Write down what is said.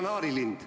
... kanaarilind.